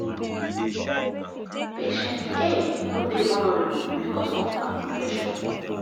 patient a no dey vulnerable becos of her profession.